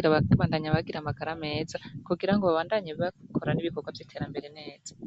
babandanye bagira amagara meza kugira babandanye bakora ibikorwa vyiterambere neza.